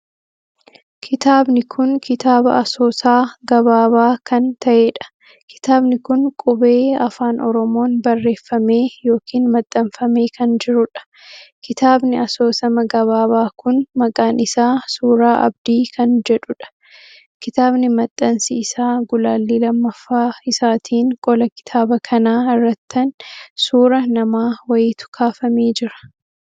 Kitaabni kun kitaaba asoosaa gabaabaa kan taheedha. kitaabni kun qubee Afaan Oromoon barreeffamee ykn maxxanfamee kan jiruudha. kitaabni asoosama gabaabaa Kun maqaan isaa suuraa Abdii kan jechuudha. kitaabni maxxansii isaa gulaallii lammaffaa isaatin qola kitaaba kanaa irrattan suuraa namaa wayiitu kaafamee jira.